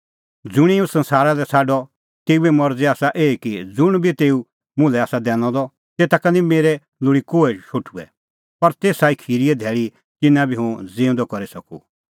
ज़ुंणी हुंह संसारा लै छ़ाडअ तेऊए मरज़ी आसा एही कि ज़ुंण बी तेऊ मुल्है आसा दैनअ द तेता का निं मेरै लोल़ी कोहै शोठुअ पर तेसा खिरीए धैल़ी तिन्नां भी हुंह ज़िऊंदअ करी सकूं